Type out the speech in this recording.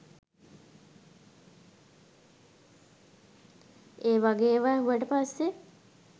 ඒ වගේ ඒවා ඇහුවට පස්සේ